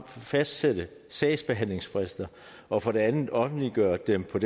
fastsætte sagsbehandlingsfrister og for det andet offentliggøre dem på